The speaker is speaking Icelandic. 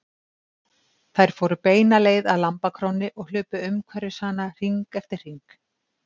Þær fóru beina leið að lambakrónni og hlupu umhverfis hana hring eftir hring.